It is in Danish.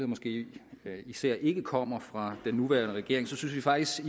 måske især ikke kommer fra den nuværende regering synes vi faktisk